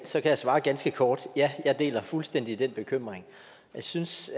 jeg svare ganske kort ja jeg deler fuldstændig den bekymring jeg synes